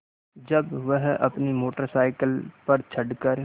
जब वह अपनी मोटर साइकिल पर चढ़ कर